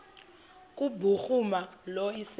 kubhuruma lo iseso